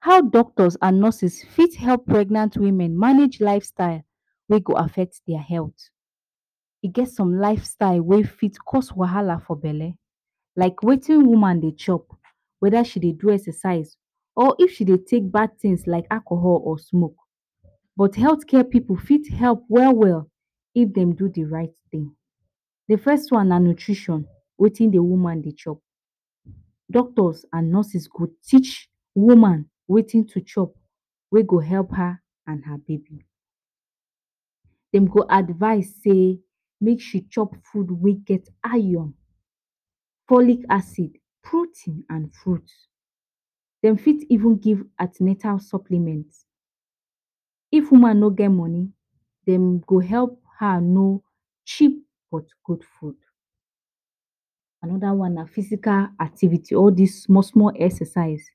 How Doctors and Nurses Fit Help Pregnant Women Manage Lifestyle wey Go Affect Their Health,e get some lifestyle wey fit cause wahala for belle. Like Wetin woman dey chop, weda she dey do exercise, or if she dey take bad things like alcohol or smoke. But healthcare pipu fit help well well if dem do the right thing. D first one na nutrition, Wetin the woman they chop, Doctors and nurses go teach woman Wetin to chop, wey go help her and her baby. Dem go advise sey make she chop food we get iron, folic acid, protein, and fruits. Dem fit even give an ten atal supplements. If woman no get money, dem go help her know cheap but good food. Anoda one, na physical activity all these small, small exercises.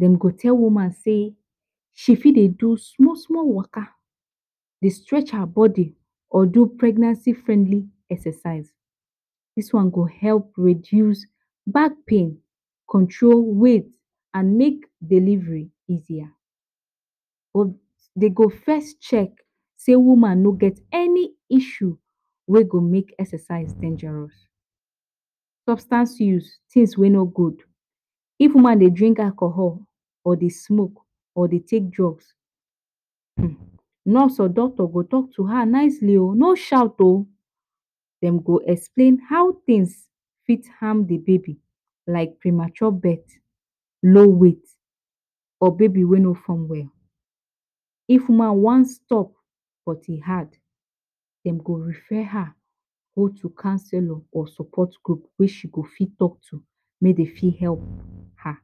Dem go tell woman sey, she fit dey do small, small workout. Dey stretch her body or do pregnancy-friendly exercise, Dis one go help reduce back pain, control weight, and make delivery easier, but dey go first check, sey woman no get any issue Wey go make exercise dangerous. Substance use, things wey no good, If woman dey drink alcohol, or dey smoke, or dey take drugs, nurse o rdoctor go talk to her nicely o, no shout o. Dem go explain how things fit harm d baby, like premature birth, low weight, or baby we no form well. If woman wan stop but e hard, Dem go refer her go counsellor or support group wey she go fit talk to, make Dey fit help her.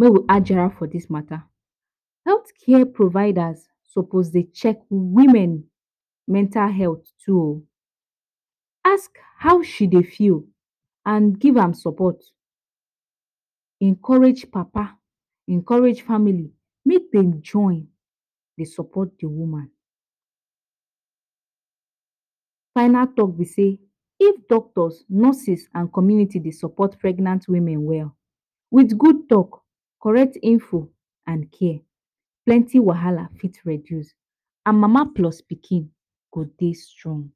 Make we add jarrah for dis mata. Healthcare providers suppose dey check women mental health too. Ask how she dey feel and give am support. Encourage papa, encourage family. Make them, join Dey support d woman. Final talk b say, if doctors, nurses, and community dey support pregnant women well, with good talk, correct info, and care, plenty wahala fit reduce, and Mama Plus Pikin, go Dey strong.